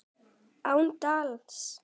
Án dals.